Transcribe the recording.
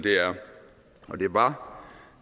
var